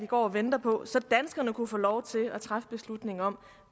vi går og venter på så danskerne kan få lov til at træffe beslutningen om